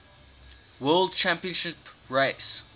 world championship race